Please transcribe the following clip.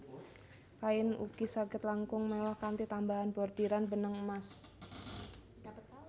Kain ugi saged langkung mewah kanthi tambahan bordiran benang emas